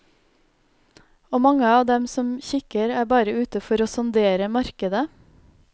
Og mange av dem som kikker, er bare ute for å sondere markedet.